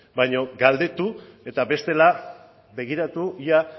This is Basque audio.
baino galdetu eta bestela begiratu ia